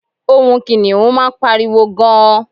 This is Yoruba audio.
ohun kiniun ma n pariwo gan